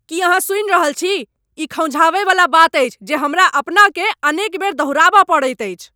की अहाँ सुनि रहल छी? ई खौंझावयवला बात अछि जे हमरा अपनाकेँ अनेक बेर दोहराबय पड़ैत अछि।